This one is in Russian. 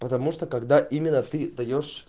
потому что когда именно ты даёшь